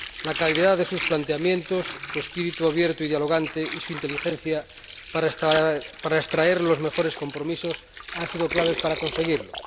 La calidad de sus planteamientos, su espíritu abierto y dialogante, y su inteligencia para extraer los mejores compromisos han sido claves para conseguirlo.